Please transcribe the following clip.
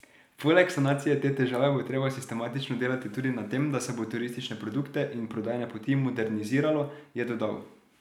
Poleg sanacije te težave bo treba sistematično delati tudi na tem, da se bo turistične produkte in prodajne poti moderniziralo, je dodal.